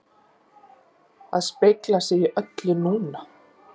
AÐ SPEGLA SIG Í ÖLLU NÚNA!